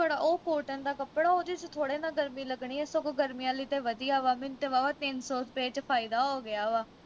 ਉਹ cotton ਦਾ ਕੱਪੜਾ ਉਹਦੇ ਵਿਚ ਥੋੜੇ ਨਾ ਗਰਮੀ ਲੱਗਣੀ ਸਗੋਂ ਗਰਮੀਆਂ ਲਈ ਤੇ ਵਧੀਆਂ ਵਾ ਮੈਨੂੰ ਤੇ ਵਾਹਵਾ ਤਿੰਨ ਸੌ ਰੁਪਏ ਵਿਚ ਫਾਇਆ ਹੋ ਗਿਆ ਵਾ